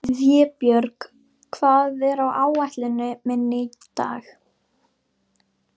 Vébjörg, hvað er á áætluninni minni í dag?